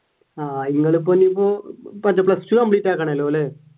ആഹ് നിങ്ങൾ ഇപ്പൊ ഇനിയിപ്പോ plus two complete ആക്കണം അല്ല?